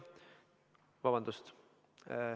Vabandust!